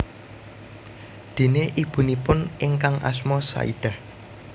Déné ibunipun ingkang asma Saidah